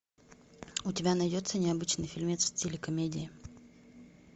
у тебя найдется необычный фильмец в стиле комедии